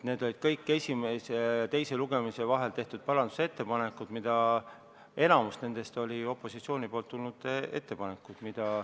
Need olid kõik esimese ja teise lugemise vahel tehtud parandusettepanekud, enamik nendest olid opositsiooni ettepanekud.